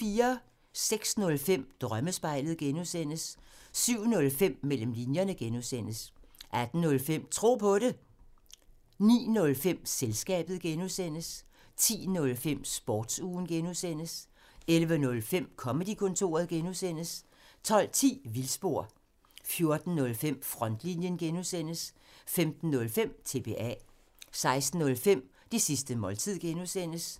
06:05: Drømmespejlet (G) 07:05: Mellem linjerne (G) 08:05: Tro på det 09:05: Selskabet (G) 10:05: Sportsugen (G) 11:05: Comedy-kontoret (G) 12:10: Vildspor 14:05: Frontlinjen (G) 15:05: TBA 16:05: Det sidste måltid (G)